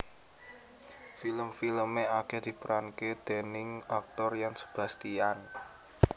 Film filme akeh diperanke déning aktor Yan Sebastian